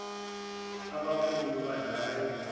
abakhulu badlala ibhola